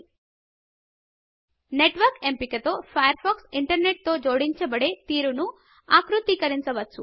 Networkనెట్వర్క్ ఎంపిక తో Firefox internet తో జోడించ బడే తీరును ఆకృతీకరించవచ్చు